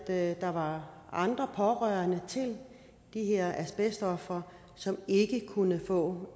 at der var andre pårørende til de her asbestofre som ikke kunne få